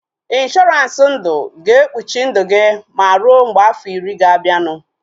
Ịnshọransị ndụ ga-ekpuchi ndụ gị ma rue mgbe afọ iri ga-abianu